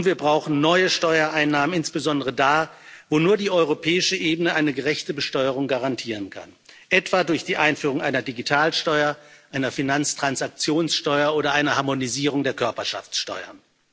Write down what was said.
Und wir brauchen neue Steuereinnahmen insbesondere da, wo nur die europäische Ebene eine gerechte Besteuerung garantieren kann, etwa durch die Einführung einer Digitalsteuer, einer Finanztransaktionssteuer oder eine Harmonisierung der Körperschaftsteuer.